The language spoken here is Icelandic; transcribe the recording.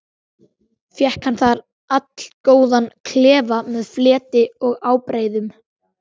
Fékk hann þar allgóðan klefa með fleti og ábreiðum.